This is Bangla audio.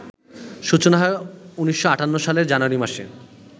সূচনা হয় ১৯৫৮ সালের জানুয়ারি মাসে